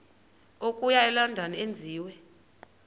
okuya elondon enziwe